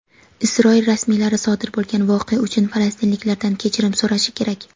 Isroil rasmiylari sodir bo‘lgan voqea uchun falastinliklardan kechirim so‘rashi kerak.